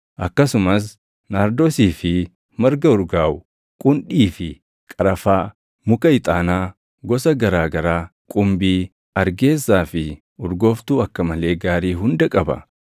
akkasumas naardoosii fi marga urgaaʼu, qundhii fi qarafaa, muka ixaanaa gosa garaa garaa, qumbii, argeessaa fi urgooftuu akka malee gaarii hunda qaba.